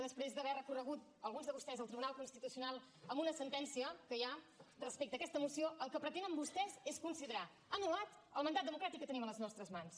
després d’haver recorregut alguns de vostès al tribunal constitucional amb una sentència que hi ha respecte a aquesta moció el que pretenen vostès és considerar anul·lat el mandat democràtic que tenim a les nostres mans